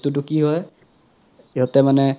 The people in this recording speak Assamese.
বস্তুতো কি হয় সিহতে মানে